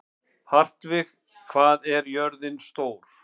Hartvig, hvað er jörðin stór?